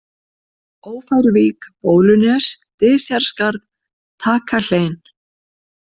Ófæruvík, Bólunes, Dysjarskarð, Takahlein